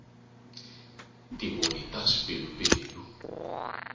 tivoni ta swipelupelu